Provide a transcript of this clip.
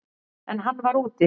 En hann var úti.